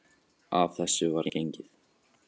Að þessu var gengið.